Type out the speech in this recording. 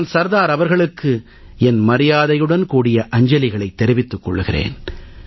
நான் சர்தார் அவர்களுக்கு என் மரியாதையுடன் கூடிய அஞ்சலிகளைத் தெரிவித்துக் கொள்கிறேன்